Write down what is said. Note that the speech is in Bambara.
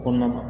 Kɔnɔna na